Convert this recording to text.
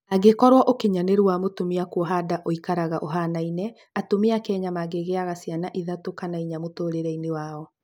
Angĩkorũo ũkinyanĩru wa mũtumia kuoha nda ũikaraga ũhanaine, atumia kenya mangĩgĩaga ciana ithatũ kana inya mũtũrĩre inĩ wao